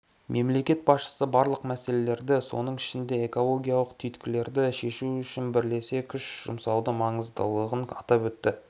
мемлекет басшысы барлық мәселелерді соның ішінде экологиялық түйткілдерді шешу үшін бірлесе күш жұмсаудың маңыздылығын атап өтті